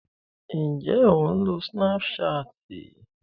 Ǹjé o ń lo Snapchat?